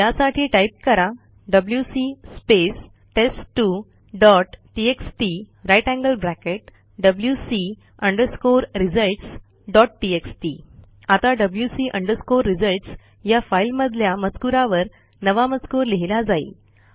त्यासाठी टाईप करा WC space test two dot TXT grater than sign wc results dot TXT आता wc results या फाईलमधल्या मजकूरावर नवा मजकूर लिहिला जाईल